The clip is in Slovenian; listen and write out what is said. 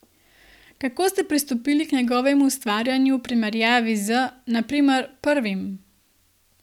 Kako ste pristopili k njegovemu ustvarjanju v primerjavi z, na primer, prvim?